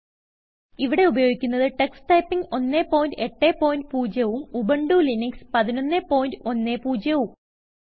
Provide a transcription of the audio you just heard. ഇവിടെ ഉപയോഗിക്കുന്നത് Tux typing 180 ഉം ഉബുന്റു ലിനക്സ് 1110ഉം